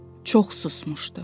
Çox susmuşdu.